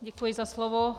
Děkuji za slovo.